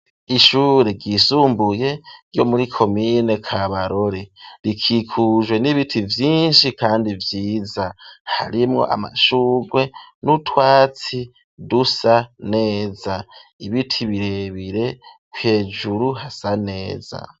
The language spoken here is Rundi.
Ishure ryisumbuye ryo muri komine kabarore rikikujwe n'ibiti vyinshi kandi vyiza harimwo amashugwe n'utwatsi dusa neza, ibiti birebire hejuru hasa neza.